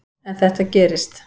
En þetta gerist.